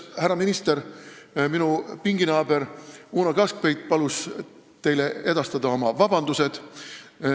Härra minister, minu pinginaaber Uno Kaskpeit palus teile edastada oma vabandused.